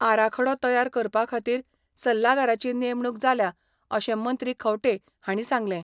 आराखडो तयार करपाखातीर सल्लागाराची नेमणुक जाल्या अशें मंत्री खंवटे हांणी सांगलें.